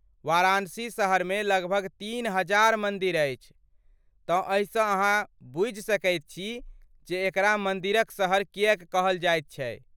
वाराणसी शहरमे लगभग तीन हजार मन्दिर अछि, तँ एहिसँ अहाँ बुझि सकैत छी जे एकरा 'मन्दिरक शहर' किएक कहल जाइत छै।